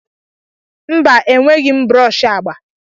Mba, enweghị m brọsh agba.